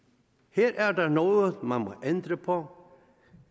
her er der noget man må ændre på